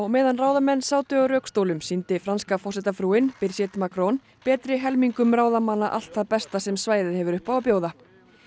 meðan ráðamenn sátu á rökstólum sýndi franska forsetafrúin Birgit Macron betri helmingum ráðamanna allt það besta sem svæðið hefur upp á að bjóða